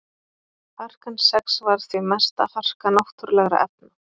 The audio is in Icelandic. Harkan sex var því mesta harka náttúrulegra efna.